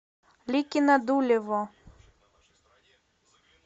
ликино дулево